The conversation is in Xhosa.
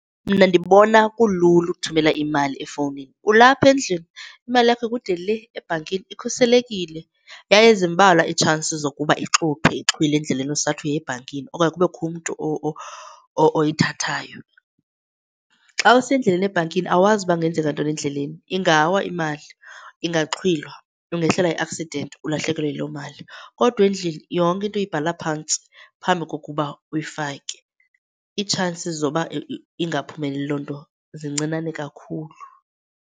Mna ndibona kulula ukuthumela imali efowunini. Ulapha endlini imali yakho ikude le ebhankini, ikhuselekile yaye zimbalwa iitshansi zokuba ixuthwe ixhwilwe endleleni usathi uya ebhankini okanye kubekho umntu oyithathayo. Xa usendleleni ebhankini awazi ukuba kungenzeka ntoni endleleni, ingawa imali, ingaxhwilwa, ungehlelwa yi-accident ulahlekelwe yileyo mali. Kodwa endlini yonke into uyibhala phantsi phambi kokuba uyifake. Iitshansi zokuba ingaphumeleli loo nto zincinane kakhulu.